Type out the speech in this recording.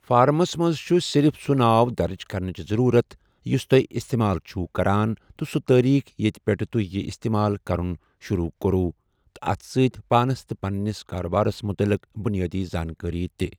فارمَس منز چھُ صِرِف سُہ ناو درٕج کرنٕچہِ ضٔروٗرت یُس تو٘ہہِ اِستعمال چِھو کَران تہٕ سُہ تٲریٖخ ییٚتہِ پیٚٹھٕ تۄہہِ یہِ اِستعمال کَرُن شُروٗع کوٚرُو، تہٕ اَتھ سۭتۍ پانس تہٕ پنٛنِس کارٕبارس مُتعلِق بُنیٲدی زانٛکٲری تہِ۔